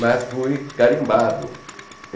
Mas fui carimbado.